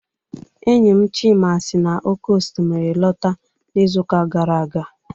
Enyi m Chima si n'oké osimiri lọta n'izuụka gara aga.